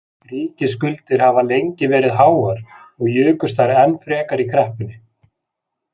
Ríkisskuldir hafa lengi verið háar og jukust þær enn frekar í kreppunni.